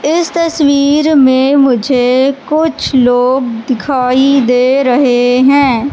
इस तस्वीर में मुझे कुछ लोग दिखाई दे रहे है।